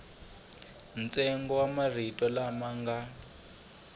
ntsengo wa marito lama nga